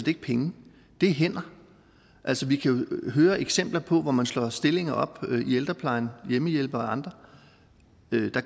ikke penge det er hænder altså vi kan jo høre eksempler på at når man slår stillinger op i ældreplejen hjemmehjælpere og andre